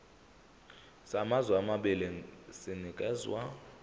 samazwe amabili sinikezwa